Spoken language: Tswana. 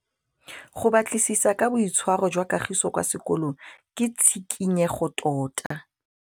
Go batlisisa ka boitshwaro jwa Kagiso kwa sekolong ke tshikinyêgô tota.